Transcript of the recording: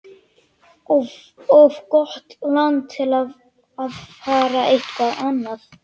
Of gott land til að fara eitthvað annað.